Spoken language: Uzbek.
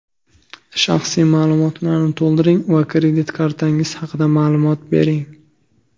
Shaxsiy ma’lumotlarni to‘ldiring va kredit kartangiz haqida ma’lumot bering.